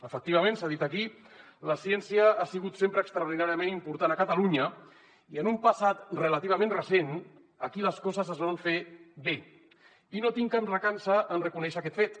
efectivament s’ha dit aquí la ciència ha sigut sempre extraordinàriament important a catalunya i en un passat relativament recent aquí les coses es van fer bé i no tinc cap recança en reconèixer aquest fet